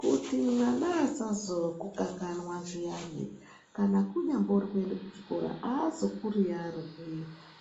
Kuti vana vasazokukanganwa zviyani kana kunyambori kuende kuchikora aazokuriyarwi